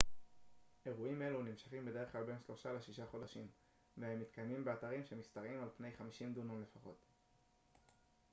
אירועים אלה נמשכים בדרך כלל בין שלושה לשישה חודשים והם מתקיימים באתרים שמשתרעים על פני 50 דונם לפחות